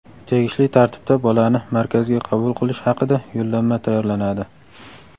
tegishli tartibda bolani Markazga qabul qilish haqida yo‘llanma tayyorlanadi.